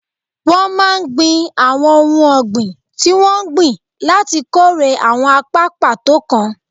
Wọ́n máa ń gbìn àwọn ohun ọ̀gbìn tí wọ́n ń gbìn láti kórè àwọn apá pàtó kan